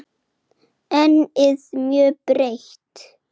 Sagði svo: Það var og